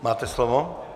Máte slovo.